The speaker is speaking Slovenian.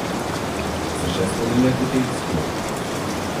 Se še spominjate teh zgodb?